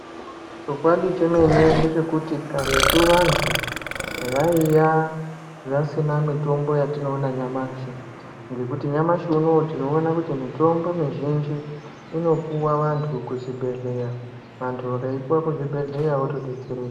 Chokwadi chemene ndechekuti karetu vantu vaiva vasina mitombo yatinoona nyamashi ngekuti nyamashi unowu tinoona kuti mitombo mizhinji inopuwa vantu kuzvibhedhlera vantu vakaipuwa kuzvibhedhlera votodetsereka.